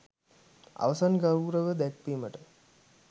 අවසන් ගෞරවදැක්‌වීමට